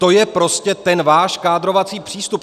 To je prostě ten váš kádrovací přístup.